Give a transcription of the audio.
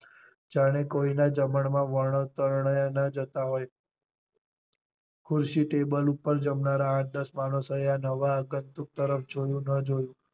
જાણે કોઈ ના જમણ માં ન જતાં હોય ખુરશી ટેબલ ઉપર જમનારા આઠ દસ માણસો એ આ નવા જોયું ન જોયું